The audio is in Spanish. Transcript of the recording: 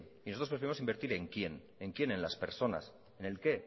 y nosotros preferimos invertir en quién en quién en las personas en el qué